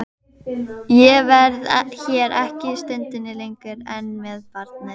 Ég verð hér ekki stundinni lengur ein með barnið.